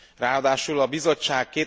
Ráadásul a Bizottság